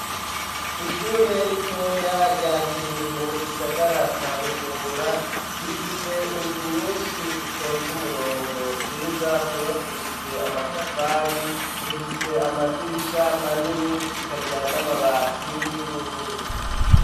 Ishure ritoya rya Kiriri mu gisagara ca Bujumbura, rifise inzu nyinshi zitonze umurongo, nziza, zubakishijwe amatafari, zifise amadirisha manini, zisakaje n'amabati y'ubururu.